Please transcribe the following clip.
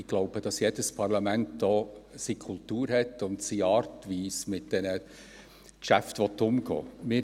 Ich glaube, dass jedes Parlament seine Kultur hat und seine Art, wie es mit den Geschäften umgehen will.